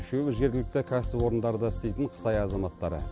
үшеуі жергілікті кәсіпорындарда істейтін қытай азаматтары